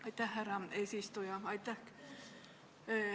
Aitäh, härra eesistuja!